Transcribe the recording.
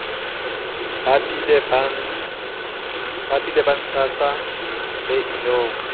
bapile ba ntshana se inong